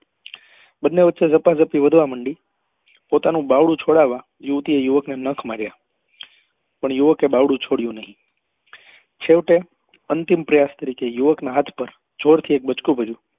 પોતાનું બાવડું છોડાવવા યુવતી એ યુવક ને નખ માર્યા પણ યુવકે બાવડું છોડ્યું નહી છેવટે અંતિમ પ્રયાસ કરી તે યુવક ના હાથ પર જોર થી એક બચકું ભર્યું